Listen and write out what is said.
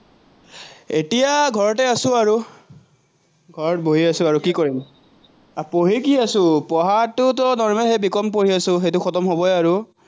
এতিয়া ঘৰতে আছো আৰু, ঘৰত বহি আছো আৰু, কি কৰিম। পঢ়ি কি আছো, পঢ়াততো normal সেই বি কম পঢ়ি আছো, সেইটো খটম হবই আৰু।